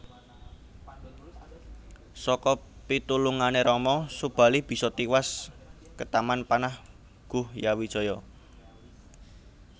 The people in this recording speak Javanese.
Saka pitulungané Rama Subali bisa tiwas ketaman panah Guhyawijaya